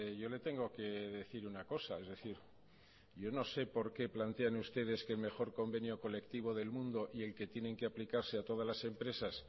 yo le tengo que decir una cosa es decir yo no sé por qué plantean ustedes que el mejor convenio colectivo del mundo y el que tienen que aplicarse a todas las empresas